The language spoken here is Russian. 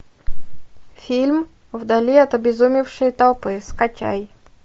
фильм вдали от обезумевшей толпы скачай